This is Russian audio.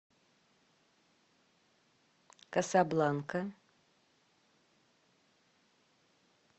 касабланка